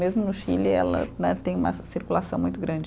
Mesmo no Chile, ela né, tem uma circulação muito grande.